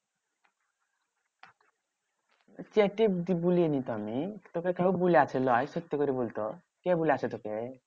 চেটে বলিনি তো আমি। তোকে কেউ বলেছিল? এই সত্যি করে বলতো কে বলেছে তোকে?